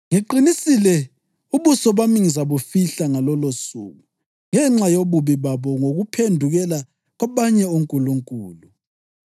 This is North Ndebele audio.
Ngiqinisile ubuso bami ngizabufihla ngalolosuku ngenxa yobubi babo ngokuphendukela kwabanye onkulunkulu.